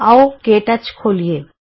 ਆਉ ਕੇ ਟੱਚ ਖੋਲੀਏ